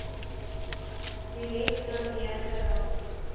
direk daardeur geraak